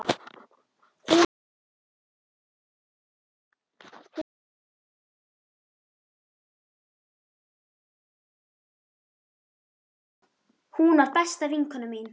Hún var besta vinkona mín.